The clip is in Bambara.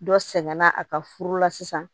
Dɔ sɛgɛnna a ka furu la sisan